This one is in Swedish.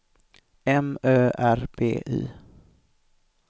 M Ö R B Y